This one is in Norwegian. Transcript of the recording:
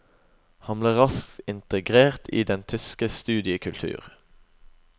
Han ble raskt integrert i den tyske studiekultur.